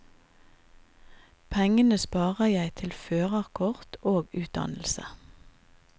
Pengene sparer jeg til førerkort og utdannelse.